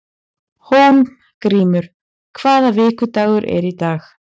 Hólmgrímur, hvaða vikudagur er í dag?